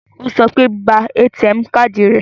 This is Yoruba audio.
Ó sọ pé, ba ATM káàdì rẹ